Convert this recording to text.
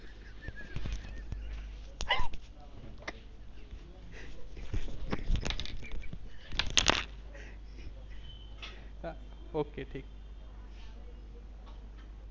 okay ठीक